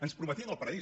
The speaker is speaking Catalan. ens prometien el paradís